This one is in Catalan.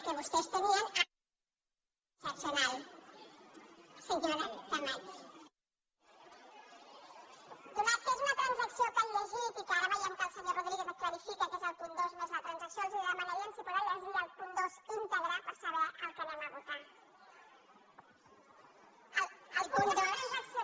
atès que és una transacció que han llegit i que ara ve·iem que el senyor rodríguez clarifica que és el punt dos més la transacció els demanaríem si poden llegir el punt dos íntegre per saber el que votarem